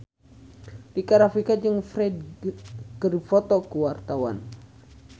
Rika Rafika jeung Ferdge keur dipoto ku wartawan